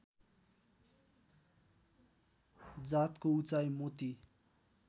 जातकको उचाइ मोती